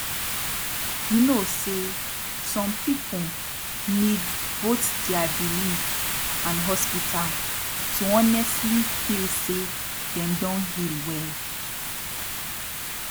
you know say some people need both dia belief and hospital to honestli feel say dem don heal well